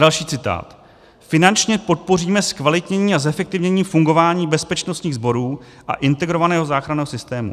Další citát: "Finančně podpoříme zkvalitnění a zefektivnění fungování bezpečnostních sborů a integrovaného záchranného systému."